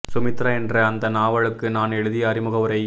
சுமித்ரா என்ற அந்த நாவலுக்கு நான் எழுதிய அறிமுக உரை